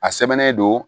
A sɛbɛnnen don